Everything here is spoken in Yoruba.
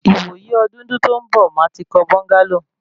Ìwò yí ọdúndún tó ń bọ̀, màá ti kọ́ búńgálò